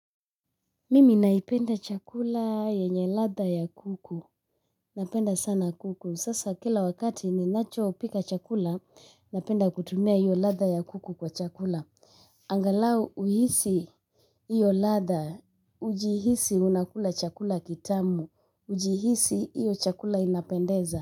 Mimi naipenda chakula yenye ladha ya kuku, napenda sana kuku, sasa kila wakati ninachopika chakula, napenda kutumia hiyo ladha ya kuku kwa chakula. Angalau uhisi hiyo ladha, ujihisi unakula chakula kitamu, ujihisi hiyo chakula inapendeza.